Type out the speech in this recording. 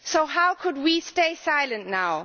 How could we stay silent now?